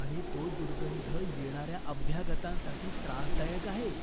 आणि तो दुर्गंध येणाऱ्या अभ्यागतांसाठी त्रासदायक आहे.